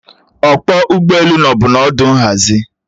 Ọkpọ ụgbọelu nọbu n'ọdụ nhazi